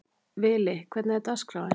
Vili, hvernig er dagskráin?